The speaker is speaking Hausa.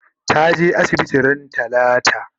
ta je asibiti ran talata?